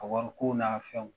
A wari ko n'a fɛnw.